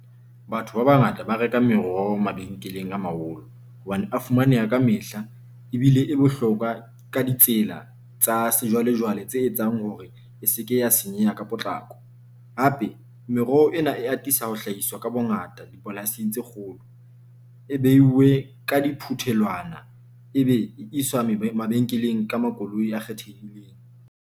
Batho ba bangata ba reka meroho mabenkeleng a maholo hobane a fumaneha ka mehla ebile e bohlokwa ka ditsela tsa sejwalejwale tse etsang hore e seke ya senyeha ka potlako. Hape, meroho ena e atisa ho hlahiswa ka bongata dipolasing tse kgolo, e behilwe ka di phuthelwana, e be e iswa maybe mabenkeleng ka makoloi a kgethehileng.